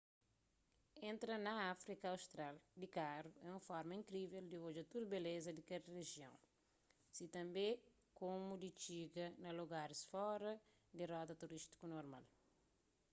entra na áfrika austral di karu é un forma inkrível di odja tudu beleza di kel rijion si tanbê komu di txiga na lugaris fora di rota turístiku normal